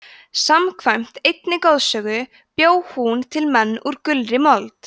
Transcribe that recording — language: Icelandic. samkvæmt einni goðsögu bjó hún til menn úr gulri mold